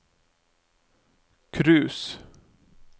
cruise